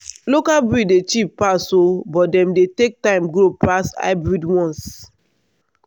local breed dey cheap pass oo but dem dey take time grow pass hybrid ones.